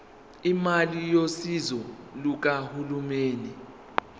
imali yosizo lukahulumeni